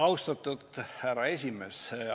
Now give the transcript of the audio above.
Austatud härra esimees!